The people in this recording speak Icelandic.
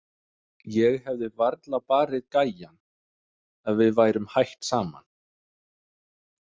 Ég hefði varla barið gæjann ef við værum hætt saman.